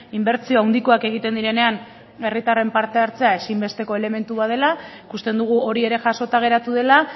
inbertsio handikoak egiten direnean herritarren parte hartzea ezinbesteko elementu bat dela ikusten dugu hori ere jasota geratu dela